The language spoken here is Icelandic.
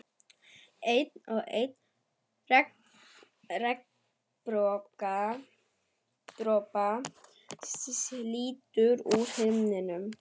Einn og einn regndropa slítur úr himninum.